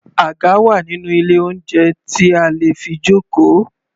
Àga wà nínú ilé oúnjẹ tí a lè fi jókòó.